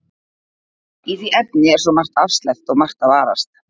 Í því efni er svo margt afsleppt og margt að varast.